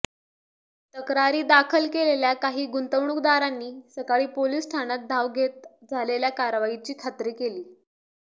तक्रारी दाखल केलेल्या काही गुंतवणूकदारांनी सकाळी पोलिस ठाण्यात धाव घेत झालेल्या कारवाईची खात्री केली